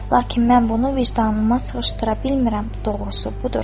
Lakin mən bunu vicdanıma sığışdıra bilmirəm, doğrusu budur.